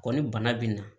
Kɔni bana bɛ na